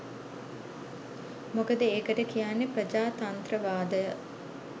මොකද ඒකට කියන්නේ ප්‍රජාතන්ත්‍රවාදය